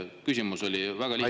Küsimus oli väga lihtne.